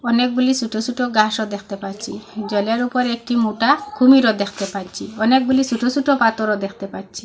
অনেকগুলি সোট সোট ঘাসও দেখতে পাচ্ছি জলের উপর একটি মোটা কুমিরও দেখতে পাচ্ছি অনেকগুলি সোট সোট পাথরও দেখতে পাচ্ছি।